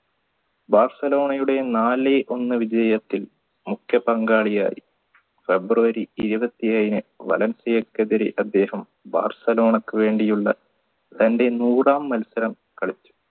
ബാഴ്സലോണയുടെ നാല് ഒന്ന് വിജയത്തിൽ മുഖ്യപങ്കാളിയായി february ഇരുപത്തിഏഴിന് വലൻസിഎക്കെതിരെ അദ്ദേഹം ബാഴ്സലോണക്ക് വേണ്ടിയുള്ള തന്റെ നൂറാം മത്സരം കളിച്ചു